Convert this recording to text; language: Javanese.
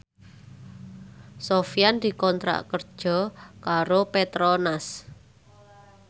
Sofyan dikontrak kerja karo Petronas